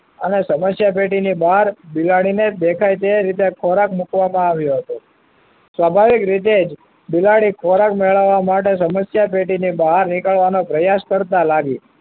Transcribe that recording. અને સમસ્યા પેટીની બહાર બિલાડીને દેખાય તે રીતે ખોરાક મુકવામાં આવ્યો હતો. સ્વભાવિક રીતે જ બિલાડી ખોરાક મેળવવા માટે સમસ્યા પેટી ની બહાર નીકળવાનો પ્રયાસ કરતા લાગી